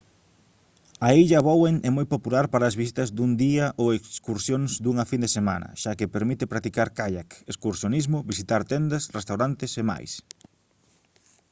a illa bowen é moi popular para as visitas dun día ou excursións dunha fin de semana xa que permite practicar caiac excursionismo visitar tendas restaurantes e máis